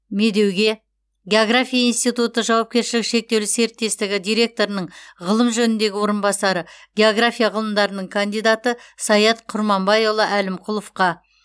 медеуге география институты жауапкершілігі шектеулі серіктестігі директорының ғылым жөніндегі орынбасары география ғылымдарының кандидаты саят құрбанбайұлы әлімқұловқа